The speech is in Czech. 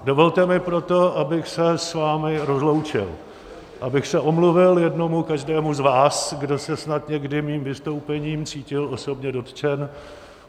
Dovolte mi proto, abych se s vámi rozloučil, abych se omluvil jednomu každému z vás, kdo se snad někdy mým vystoupením cítil osobně dotčen.